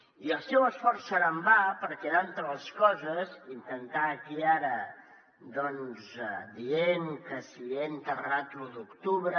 i el seu esforç serà en va perquè entre altres coses intentar aquí ara doncs dir que si he enterrat l’u d’octubre